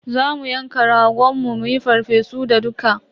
Za mu yanka ragon mu muyi farfesu da dukka.